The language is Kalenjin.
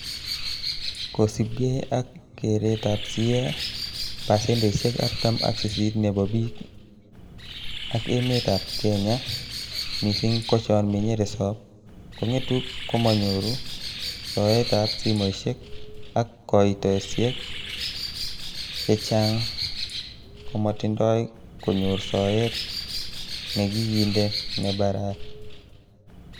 Kosiibge ak keeretab CA, pasendeisiek artam ak sisit nebo bik ak emetab Kenya, missing ko chon menye resop, kongetu komonyore soetab simoishek ak koitosiek chechang komotindoi konyor soet nekikinde nebaraa.